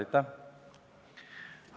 Aitäh!